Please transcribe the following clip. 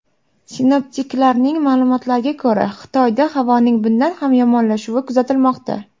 Sinoptiklarning ma’lumotlariga ko‘ra, Xitoyda havoning bundan ham yomonlashuvi kuzatilmoqda.